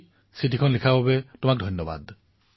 exam warriors ২৩বাৰ পঢ়াৰ বাবে ধন্যবাদ